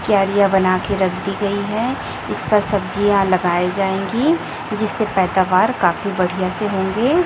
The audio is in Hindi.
क्यारियां बना के रख दी गई है इस पर सब्जियां लगाई जाएंगी जिससे पैदावार काफी बढ़िया से होंगे।